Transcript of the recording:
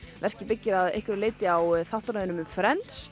verkið byggir að einhverju leyti á þáttaröðinni um